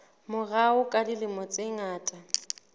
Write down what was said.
morao ka dilemo tse ngata